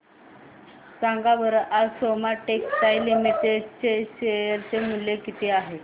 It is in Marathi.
सांगा बरं आज सोमा टेक्सटाइल लिमिटेड चे शेअर चे मूल्य किती आहे